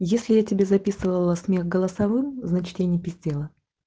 если я тебе записывала смех голосовым значит я не пиздела